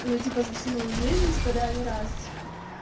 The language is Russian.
ну типа за всю мою жизнь типо да ни разу